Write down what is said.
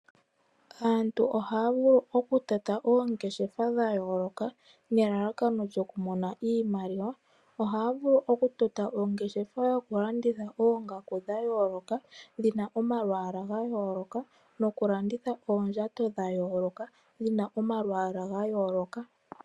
Aantu ohaya vuku okutota oongeshefa dha yooloka nelalakano lyoku mona iimaliwa. Ohaya vulu okutota ongeshefa yoku landitha oongaku dha yooloka dhina omalwaala ga yooloka noku landitha oondjato dha yooloka dhina omwaala ga yooloka.